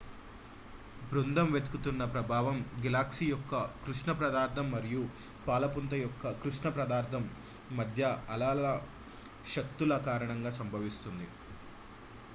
బృందం వెతుకుతున్న ప్రభావం గెలాక్సీ యొక్క కృష్ణ పదార్థం మరియు పాలపుంత యొక్క కృష్ణ పదార్థం మధ్య అలల శక్తుల కారణంగా సంభవిస్తుంది